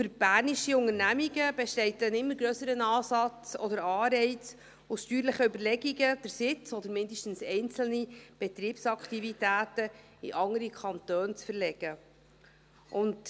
Für bernische Unternehmungen besteht ein immer grösserer Anreiz, aus steuerlichen Überlegungen den Sitz, oder zumindest einzelne Betriebsaktivitäten, in andere Kantone zu verlegen.